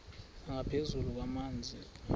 nangaphezu kwamanzi nokutya